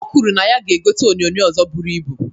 O kwuru na ya ga-egota onyoonyoo ọzọ buru ibu.